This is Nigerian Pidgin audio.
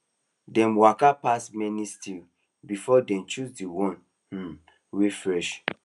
dem waka pass many stalls before dem choose the one um wey fresh